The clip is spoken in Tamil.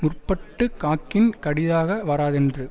முற்பட்டு காக்கின் கடிதாக வராதென்றது